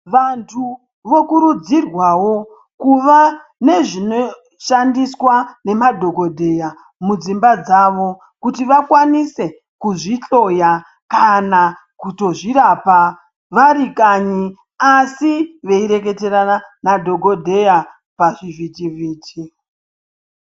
Vantu vokurudzirwawo kuva nezvinoshandiswa nemadhokodheya mudzimba dzavo kuti vakwanise kuzvihloya kana kutozvirapa vari kanyi asi veireketerana nadhokodheya pachivhitivhiti.